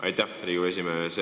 Aitäh, Riigikogu esimees!